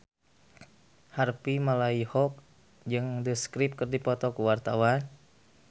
Harvey Malaiholo jeung The Script keur dipoto ku wartawan